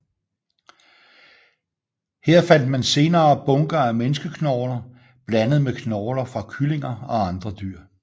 Her fandt man senere bunker af menneskeknogler blandet med knogler fra kyllinger og andre dyr